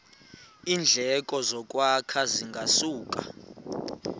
iindleko zokwakha zingasuka